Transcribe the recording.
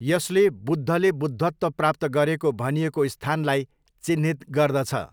यसले बुद्धले बुद्धत्व प्राप्त गरेको भनिएको स्थानलाई चिह्नित गर्दछ।